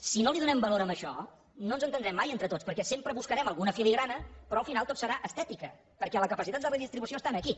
si no li donem valor a això no ens entendrem mai entre tots perquè sempre buscarem alguna filigrana però al final tot serà estètica perquè la capacitat de redistribució està aquí